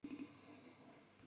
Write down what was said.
En hvað gerir hópstjóri?